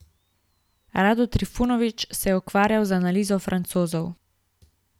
Rado Trifunović se je ukvarjal z analizo Francozov.